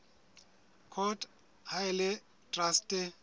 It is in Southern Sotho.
court ha e le traste